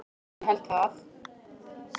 Ég held það.